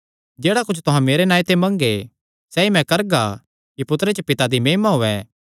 जेह्ड़ा कुच्छ तुहां मेरे नांऐ ते मंगगे सैई मैं करगा कि पुत्तरे च पिता दी महिमा होयैं